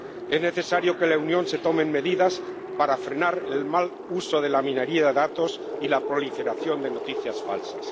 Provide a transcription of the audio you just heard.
Es necesario que en la Unión se tomen medidas para frenar el mal uso de la minería de datos y la proliferación de noticias falsas.